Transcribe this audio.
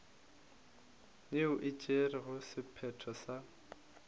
yeo e tšerego sephetho sa